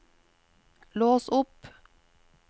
lås opp